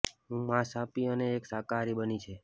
હું માંસ આપી અને એક શાકાહારી બની છે